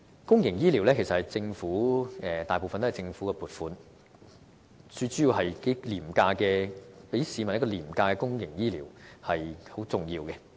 公營醫療服務其實主要是依靠政府的撥款，從而向市民提供廉價的公營醫療，這是很重要的。